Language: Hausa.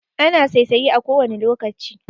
Ana saisaye a kowane lokaci